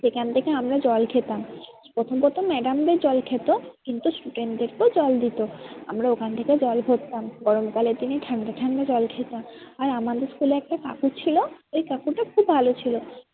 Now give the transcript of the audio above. সেখান থেকে আমরা জল খেতাম। প্রথম প্রথম madam দের জল খেত কিন্তু student দেরকেও জল দিতো। আমরা ওখান থেকে জল ভরতাম গরম কালের দিয়ে ঠান্ডা ঠান্ডা জল খেতাম। আর আমাদের school এ একটা কাকু ছিল ওই কাকুটা খুব ভালো ছিল।